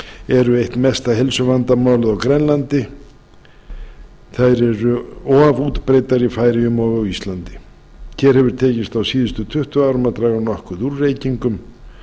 eru eitt mesta heilsuvandamálið á grænlandi þær eru of útbreiddar í færeyjum og á íslandi hér hefur tekist á síðustu tuttugu árum að draga nokkuð úr reykingum